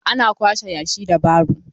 Ana kwashe yashi da baro.